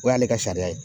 O y'ale ka sariya ye